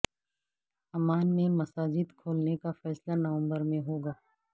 Oman میں مساجد کھولنے کا فیصلہ نومبر میں ہوگا